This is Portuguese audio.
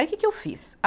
Aí que que eu fiz? a